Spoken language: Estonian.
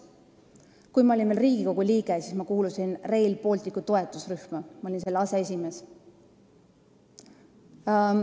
Kui ma olin veel Riigikogu liige, siis ma kuulusin Rail Balticu toetusrühma, ma olin selle aseesimees.